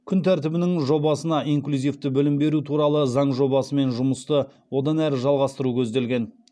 күн тәртібінің жобасына инклюзивті білім беру туралы заң жобасымен жұмысты одан әрі жалғастыру көзделген